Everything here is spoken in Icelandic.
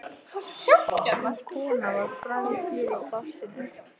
Sú kona var fræg hér í plássinu.